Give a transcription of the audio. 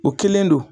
O kelen don